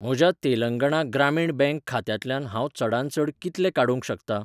म्हज्या तेलंगणा ग्रामीण बँक खात्यांतल्यान हांव चडांत चड कितले काडूंक शकतां?